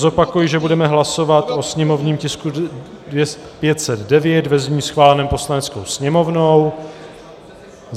Zopakuji, že budeme hlasovat o sněmovním tisku 509 ve znění schváleném Poslaneckou sněmovnou.